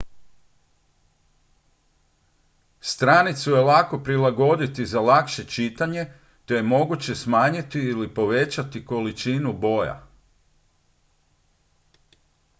stranicu je lako prilagoditi za lakše čitanje te je moguće smanjiti ili povećati količinu boja